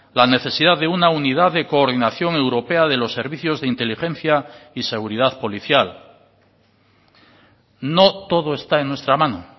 la necesidad de una unidad de coordinación europea de los servicios de inteligencia y seguridad policial no todo está en nuestra mano